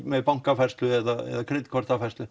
með bankafærslu eða